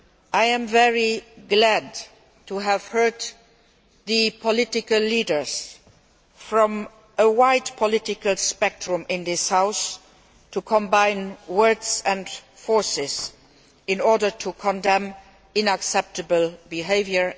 I am very glad to have heard the political leaders from a wide political spectrum in this House combine words and forces in order to condemn unacceptable behaviour.